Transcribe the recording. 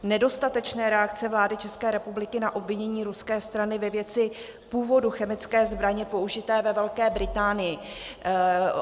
Nedostatečná reakce vlády České republiky na obvinění ruské strany ve věci původu chemické zbraně použité ve Velké Británii.